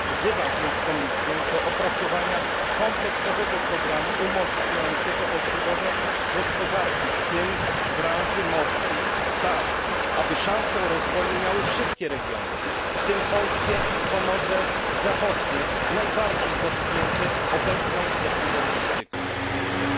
Wzywam więc Komisję do opracowania kompleksowego programu umożliwiającego odbudowę gospodarki, w tym branży morskiej tak, aby szansę rozwoju miały wszystkie regiony, w tym polskie Pomorze Zachodnie, najbardziej dotknięte obecną szkodliwą polityką. Dziękuję.